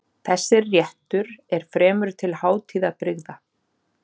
Þessir réttur er fremur til hátíðabrigða.